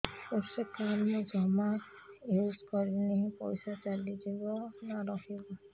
କୃଷି କାର୍ଡ ମୁଁ ଜମା ୟୁଜ଼ କରିନି ପଇସା ଚାଲିଯିବ ନା ରହିବ